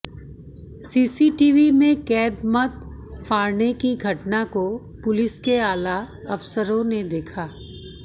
CCTV में कैद मत फाड़ने की घटना को पुलिस के आला अफसरों ने देखा